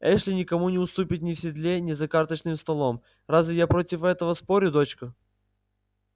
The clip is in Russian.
эшли никому не уступит ни в седле ни за карточным столом разве я против этого спорю дочка